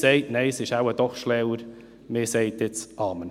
Nein, es ist wohl doch schlauer, man sagt jetzt Amen.